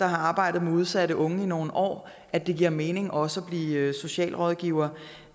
arbejdet med udsatte unge i nogle år kan at det giver mening også at blive socialrådgiver